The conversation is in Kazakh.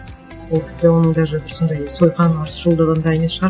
ол тіпті оның даже бір сондай сойқаны ұрысшылдығында емес шығар